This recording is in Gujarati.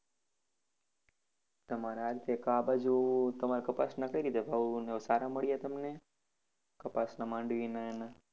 તમારા આ બાજુ તમારા કપાસ ના કઇ રિતે ભાવ અને સારા મળ્યા તમને કપાસ ના માંડવી ના ને?